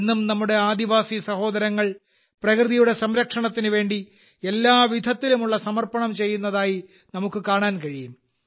ഇന്നും നമ്മുടെ ആദിവാസി സഹോദരങ്ങൾ പ്രകൃതിയുടെ സംരക്ഷണത്തിനു വേണ്ടി എല്ലാ വിധത്തിലും ഉള്ള സമർപ്പണം ചെയ്യുന്നതായി നമുക്ക് കാണാൻ കഴിയും